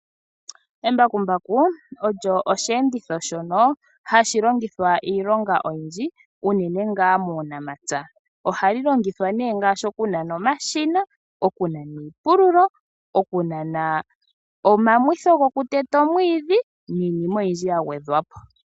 Embakumbaku olyo osheenditho shoka hashi longithwa iilonga oyindji unene muunamapya ohali longithwa okunana omashina, okunana iipululo, okunana omamwitho gokuteta omwiidhi niinima oyindji yagwedhwapo.